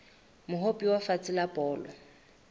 mohope wa lefatshe wa bolo